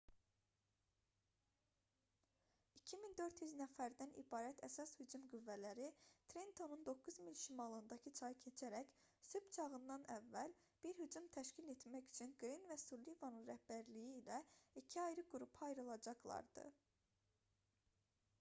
2400 nəfərdən ibarət əsas hücum qüvvələri trentonun 9 mil şimalındakı çayı keçərək sübh çağından əvvəl bir hücum təşkil etmək üçün qrin və sullivanın rəhbərliyi ilə iki ayrı qrupa ayrılacaqlardı